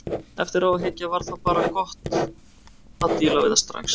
Eftir á að hyggja var bara gott að díla við það strax.